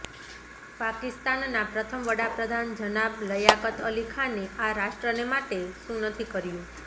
પાકિસ્તાનના પ્રથમ વડાપ્રઘાન જનાબ લયાકતઅલી ખાને આ રાષ્ટ્રને માટે શું નથી કર્યું